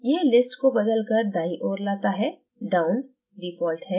यह list को बदलकर दायीं ओर लाता है down default है